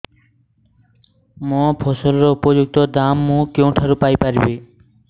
ମୋ ଫସଲର ଉପଯୁକ୍ତ ଦାମ୍ ମୁଁ କେଉଁଠାରୁ ପାଇ ପାରିବି